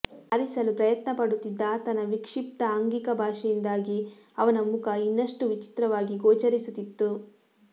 ಹಾರಿಸಲು ಪ್ರಯತ್ನಪಡುತ್ತಿದ್ದ ಆತನ ವಿಕ್ಷಿಪ್ತ ಆಂಗಿಕಭಾಷೆಯಿಂದಾಗಿ ಅವನ ಮುಖ ಇನ್ನಷ್ಟು ವಿಚಿತ್ರವಾಗಿ ಗೋಚರಿಸುತ್ತಿತ್ತು